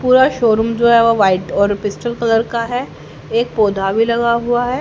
पूरा शोरूम जो है वो वाइट और पिस्टल कलर का है एक पौधा भी लगा हुआ है।